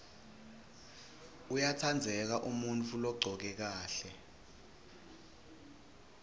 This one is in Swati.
uyatsandzeka umuntfu logcoke kahle